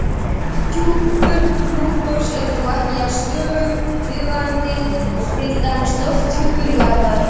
Lofthjúpur Plútós er þó ekki jafn stöðugur og viðvarandi og til dæmis lofthjúpur jarðarinnar.